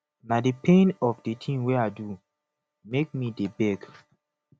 na di pain of di tin wey i do make me dey beg